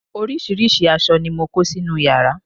oríṣiríṣi aṣọ ni mo kó sínú yàrá